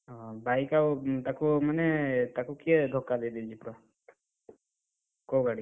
ଓହୋ bike ଆଉ ତାକୁ ମାନେ ତାକୁ କିଏ ଧକ୍କା ଦେଇଦେଇଛି ପୁରା, କୋଉ ଗାଡି?